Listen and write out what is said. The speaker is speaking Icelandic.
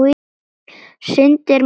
Syndir marsvín sem ei hrín.